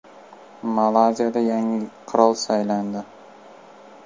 Malayziyada yangi qirol saylandi.